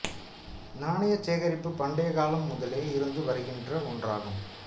நாணயச் சேகரிப்பு பண்டைக் காலம் முதலே இருந்து வருகின்ற ஒன்றாகும்